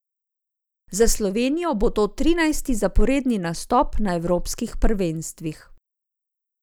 Za Slovenijo bo to trinajsti zaporedni nastop na evropskih prvenstvih.